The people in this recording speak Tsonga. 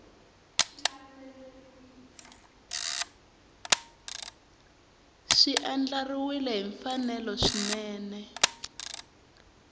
swi andlariwile hi mfanelo swinene